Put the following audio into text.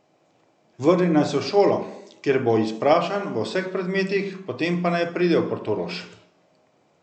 Vrne naj se v šolo, kjer bo izprašan v vseh predmetih, potem pa naj pride v Portorož.